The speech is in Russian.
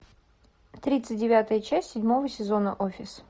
тридцать девятая часть седьмого сезона офис